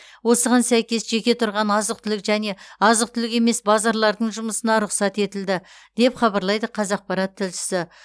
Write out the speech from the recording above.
осыған сәйкес жеке тұрған азық түлік және азық түлік емес базарлардың жұмысына рұқсат етілді деп хабарлайды қазақпарат тілшісі